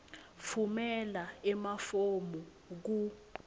tfumela emafomu ku